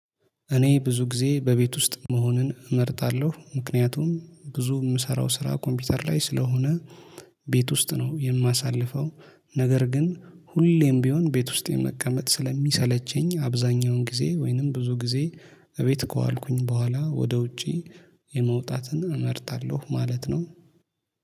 እኔ ብዙ ጊዜ በቤት ውስጥ መሆንን እመርጣለሁ ምክንያቱም ብዙ የምሰራው ስራ ኮምፒውተር ላይ ስለሆነ ቤት ውስጥ ነው የማሳልፈው። ነገር ግን ሁሌም ቢሆን ቤት ውስጥ የመቀመጥ ስለሚሰለቸኝ አብዛኛውን ጊዜ ወይንም ብዙ ጊዜ እቤት ከዋልኩኝ በኋላ ወደ ውጪ የመውጣትን እመርጣለሁ ማለት ነው